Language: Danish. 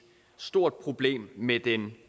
stort problem med en